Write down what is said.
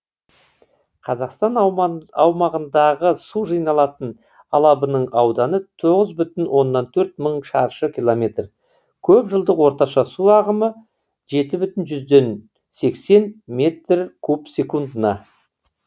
қазақстан аумағындағы су жиналатын алабының ауданы тоғыз бүтін оннан төрт мың шаршы километр көп жылдық орташа су ағымы жеті бүтін жүзден сексен метр куб секундына